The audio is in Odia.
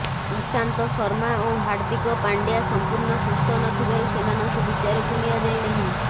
ଈଶାନ୍ତ ଶର୍ମା ଓ ହାର୍ଦିକ ପାଣ୍ଡ୍ୟା ସଂପୂର୍ଣ୍ଣ ସୁସ୍ଥ ନଥିବାରୁ ସେମାନଙ୍କୁ ବିଚାରକୁ ନିଆଯାଇ ନାହିଁ